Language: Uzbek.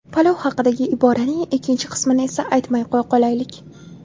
Palov haqidagi iboraning ikkinchi qismini esa aytmay qo‘ya qolaylik.